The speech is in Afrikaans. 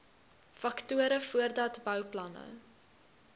faktore voordat bouplanne